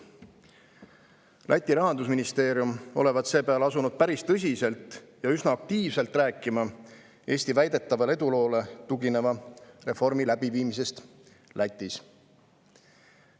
Läti rahandusministeerium olevat seepeale asunud päris tõsiselt ja üsna aktiivselt rääkima Eesti väidetavale eduloole tugineva reformi elluviimisest Lätis.